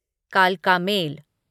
कालका मेल